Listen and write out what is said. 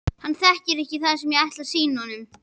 Hann þekkir ekki það sem ég ætla að sýna honum.